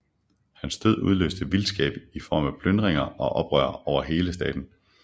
Hans død udløste vildskab i form af plyndringer og oprør over hele staten